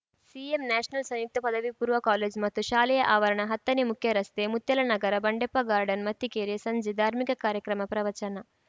CM National ಸಂಯುಕ್ತ ಪದವಿ ಪೂರ್ವ ಕಾಲೇಜು ಮತ್ತು ಶಾಲೆಯ ಆವರಣ ಹತ್ತನೇ ಮುಖ್ಯರಸ್ತೆ ಮುತ್ಯಾಲನಗರ ಬಂಡೆಪ್ಪ ಗಾರ್ಡನ್‌ ಮತ್ತಿಕೆರೆ ಸಂಜೆ ಧಾರ್ಮಿಕ ಕಾರ್ಯಕ್ರಮ ಪ್ರವಚನ